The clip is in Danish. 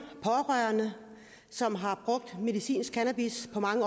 som har brugt medicinsk cannabis på mange